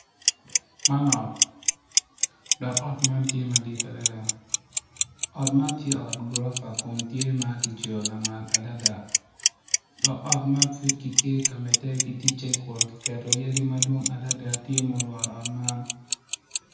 Man ot dok ot man tye madit adada ot man tye ot gurofa kun tye ma kicweyo lamal adada dok ot man pud kitye ka medde ki ticce kun kiketo yadi madwong adada tye ma olworo ot man.